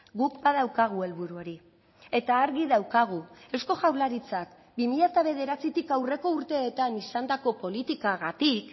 guk badaukagu helburu hori eta argi daukagu eusko jaurlaritzak bi mila bederatzitik aurreko urteetan izandako politikagatik